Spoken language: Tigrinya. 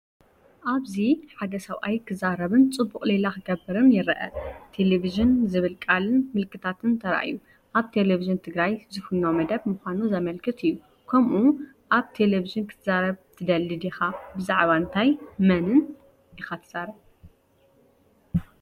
ኣብዚ ሓደ ሰብኣይ ክዛረብን ጽቡቕ ሌላ ክገብርን ይረአ። ቴሌቪዥን ዝብል ቃልን ምልክታትን ተራእዩ፣ ኣብ ቴሌቪዥን ትግራይ ዝፍኖ መደብ ምዃኑ ዘመልክት እዩ። ከምኡ ኣብ ቴሌቪዥን ክትዛረብ ትደሊ ዲኻ? ብዛዕባ እንታይን መንን ኢኻ ትዛረብ?